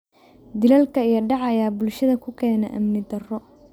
Dilalka iyo dhaca ayaa bulshada ku keena amni darro.